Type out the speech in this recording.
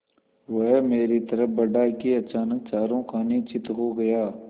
वह मेरी तरफ़ बढ़ा कि अचानक चारों खाने चित्त हो गया